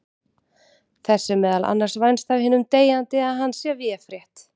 Þess er meðal annars vænst af hinum deyjandi að hann sé véfrétt.